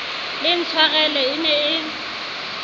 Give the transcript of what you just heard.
le ntshwarele e ne e